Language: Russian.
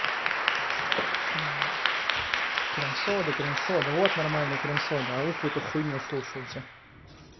крем-сода крем-сода вот нормальный крем-сода а вы какую-то хуйню слушаете